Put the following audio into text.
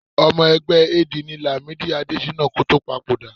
Ọmọ ẹgbẹ́ AD ni Làmídì Adéṣínà kó tó papòdà